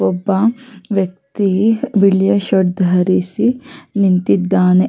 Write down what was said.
ಒಬ್ಬ ವ್ಯಕ್ತಿ ಬಿಳಿಯ ಶರ್ಟ್ ಧರಿಸಿ ನಿಂತಿದ್ದಾನೆ-